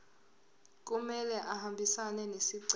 kumele ahambisane nesicelo